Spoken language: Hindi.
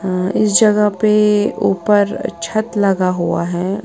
इस जगह पे ऊपर छत लगा हुआ है।